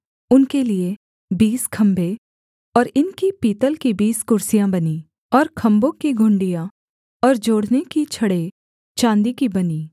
उनके लिये बीस खम्भे और इनकी पीतल की बीस कुर्सियाँ बनीं और खम्भों की घुंडियाँ और जोड़ने की छड़ें चाँदी की बनीं